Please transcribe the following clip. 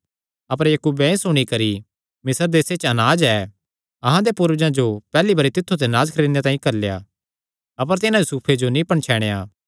अपर याकूबे एह़ सुणी करी मिस्र देसे च अनाज ऐ अहां दे पूर्वजां जो पैहल्ली बरी तित्थु ते अनाज खरीदणे तांई घल्लेया अपर तिन्हां यूसुफे जो नीं पणछैणया